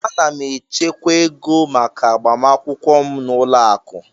Ana m echekwa ego maka agbamakwụkwọ m n'ụlọ akụ.